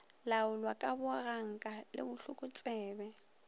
laolwa ka boganka le bohlokotsebe